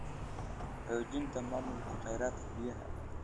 Xoojinta maamulka kheyraadka biyaha.